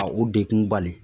Ka u degun bali